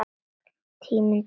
Tími til kominn!